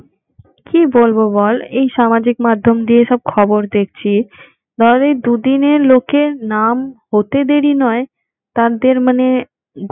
কি বলবো বল, এই সামাজিক মাধ্যম দিয়ে সব খবর দেখছি আরে দুদিনের লোকের নাম হতে দেরি নয়, তাদের মানে